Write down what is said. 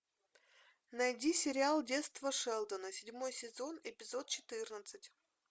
найди сериал детство шелдона седьмой сезон эпизод четырнадцать